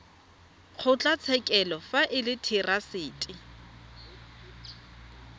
kgotlatshekelo fa e le therasete